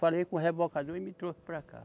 Falei com o rebocador e me trouxe para cá.